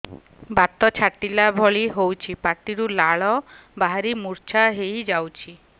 ବାତ ଛାଟିଲା ଭଳି ହଉଚି ପାଟିରୁ ଲାଳ ବାହାରି ମୁର୍ଚ୍ଛା ହେଇଯାଉଛି